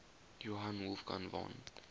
johann wolfgang von